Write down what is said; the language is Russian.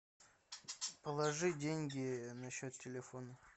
положи деньги на счет телефона